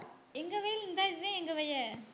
எங்க வயல் இந்தா இதா எங்க வயலு